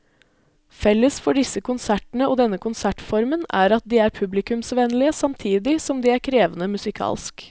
Felles for disse konsertene og denne konsertformen er at de er publikumsvennlige samtidig som de er krevende musikalsk.